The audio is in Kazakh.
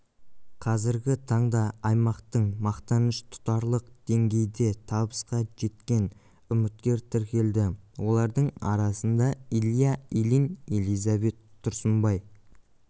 қазіргі таңда аймақтың мақтаныш тұтарлық деңгейде табысқа жеткен үміткер тіркелді олардың арасында илья ильин элизабет тұрсынбай